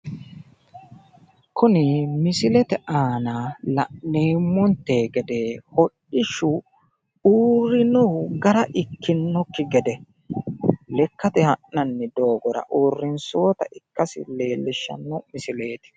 Kuni misilete aana la'neemmonte gede hodhishshu uurrinohu gara ikkinnokki gede lekkate ha'nanni doogora uurrinsoonnita ikkasi leellishshanno misileeti.